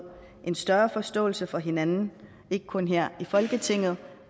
en større forståelse for hinanden ikke kun her i folketinget